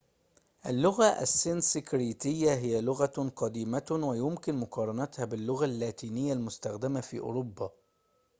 اللغة السنسكريتية هي لغةٌ قديمةٌ ويمكن مقارنتها باللغة اللاتينية المستخدمة في أوروبا